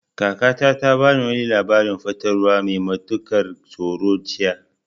Kakata ta bamu wani labarin fatalwa mai matukar tsoro jiya.